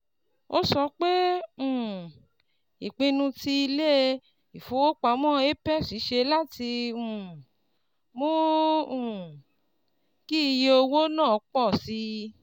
Ó sọ pé um ìpinnu tí ilé-ifowopamọ apex ṣe láti um mú um kí iye owó náà pọ̀ sí